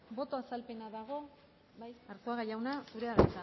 boto azalpena dago bai arzuaga jauna zurea da